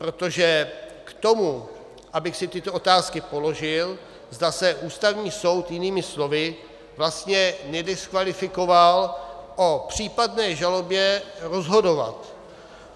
Protože k tomu, abych si tyto otázky položil, zda se Ústavní soud jinými slovy vlastně nediskvalifikoval o případné žalobě rozhodovat.